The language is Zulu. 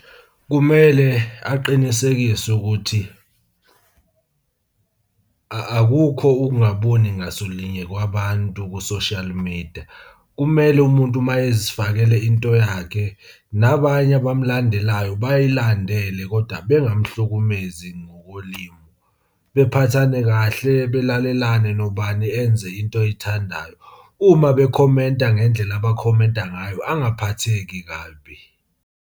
Kumele aqinisekise ukuthi, akukho ukungaboni ngasolinye kwabantu ku-social media. Kumele umuntu uma ezifakele into yakhe, nabanye abamulandelayo bayilandele koda bengamuhlukumezi ngolimu. Bephathane kahle, belalelane, nobani enze into ayithandayo. Uma bekhomenta ngendlela abakhomenta ngayo angaphatheki kabi.